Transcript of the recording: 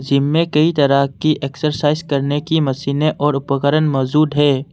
इस जिम में कई तरह की एक्सरसाइज करने की मशीनें और उपकरण मौजूद है।